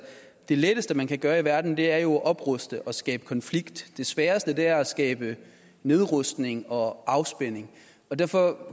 det letteste man kan gøre i verden er jo at opruste og skabe konflikt det sværeste er at skabe nedrustning og afspænding derfor